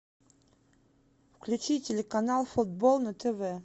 включи телеканал футбол на тв